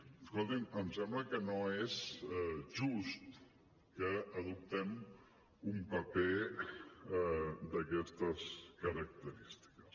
escolti’m em sembla que no és just que adoptem un paper d’aquestes característiques